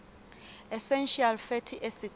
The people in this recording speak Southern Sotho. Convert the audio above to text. essential fatty acids